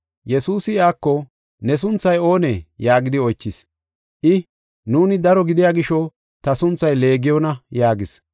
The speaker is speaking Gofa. Yesuusi iyako, “Ne sunthay oonee?” yaagidi oychis. I, “Nuuni daro gidiya gisho, ta sunthay Leegiyona” yaagis.